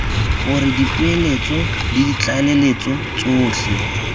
gore dipoeletso le ditlaleletso tsotlhe